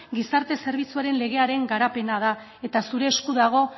gizarte zerbitzuaren legearen garapena da eta zure esku dago